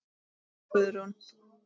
Einar og Guðrún.